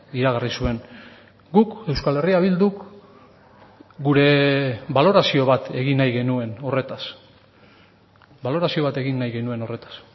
iragarri zuen guk euskal herria bilduk gure balorazio bat egin nahi genuen horretaz balorazio bat egin nahi genuen horretaz